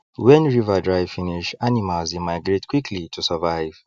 wen river dry finish animals dey migrate quickly to survive